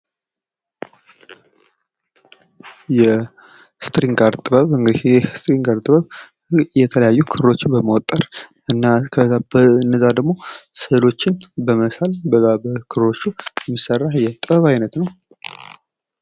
የስትሪንግ አርት ጥበብ እንግዲህ ይህ የስትሪንግ አርት ጥበብ የተለያዩ ክሮዎችን በመወጠርና በነዛ ደሞ ስእሎችን በመሳል በዛ በክሮቹ የሚሰራ የጥበብ ዓይነት ነው።